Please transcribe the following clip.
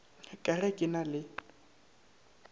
ka ge ke na le